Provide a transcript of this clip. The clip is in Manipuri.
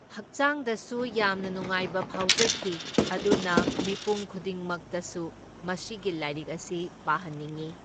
ꯍꯛꯆꯥꯡꯗꯁꯨ ꯌꯥꯝꯅ ꯅꯨꯡꯉꯥꯏꯕ ꯐꯥꯎꯖꯈꯤ, ꯑꯗꯨꯅ ꯃꯤꯄꯨꯡ ꯈꯨꯗꯤꯡꯃꯛꯇꯁꯨ ꯃꯁꯤꯒꯤ ꯂꯥꯏꯔꯤꯛ ꯑꯁꯤ ꯄꯥꯍꯟꯅꯤꯡꯏ꯫